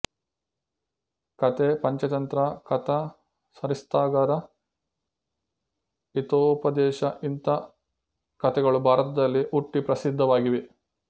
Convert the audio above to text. ಕತೆ ಪಂಚತಂತ್ರ ಕಥಾ ಸರಿತ್ಸಾಗರ ಹಿತೋಪದೇಶ ಇಂಥ ಕತೆಗಳು ಭಾರತದಲ್ಲಿ ಹುಟ್ಟಿ ಪ್ರಸಿದ್ಧವಾಗಿವೆ